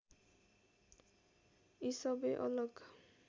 यी सबै अलग